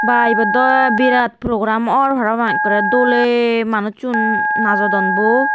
bha ebet dow birat program or parapang ekkore dole manujsun najodon bo.